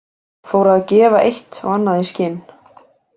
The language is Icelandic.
Fór að gefa eitt og annað í skyn.